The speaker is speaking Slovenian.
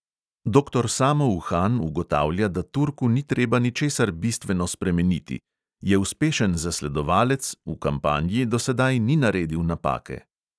Doktor samo uhan ugotavlja, da turku ni treba ničesar bistveno spremeniti: "je uspešen zasledovalec, v kampanji do sedaj ni naredil napake."